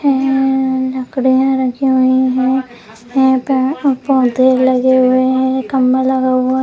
हम्म लकड़ियाँ रखी हुई हैं यहाँ पेड़-पौधे लगे हुए हैं खम्बा लगा हुआ है।